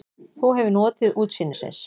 Þú hefur notið útsýnisins?